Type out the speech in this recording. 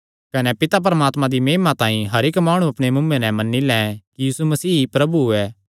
कने पिता परमात्मे दी महिमा तांई हर इक्क माणु अपणे मुँऐ नैं एह़ मन्नी लैं कि यीशु मसीह ई प्रभु ऐ